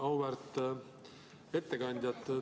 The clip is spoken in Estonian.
Auväärt ettekandja!